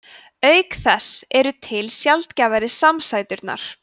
auk þess eru til sjaldgæfari samsæturnar